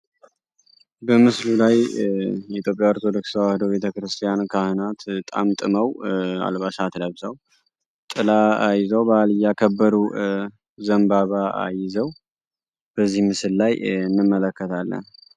በምስሉ ላይ የኢትዮጵያ ኦርቶዶክስ ተዋሕዶ ቤተክርስቲያን ካህናት ጠምጥመው አልባሳት ለብሰው ጥላ ይዘው በዓል እያከበሩ ዘንባባ ይዘው በዚህ ምስል ላይ እንመለከታለን።